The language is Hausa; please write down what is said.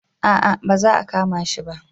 A'a ba za a kama shi ba